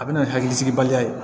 A bɛ na ni hakilisigibaliya ye